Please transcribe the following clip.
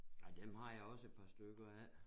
Ej dem har jeg også et par stykker af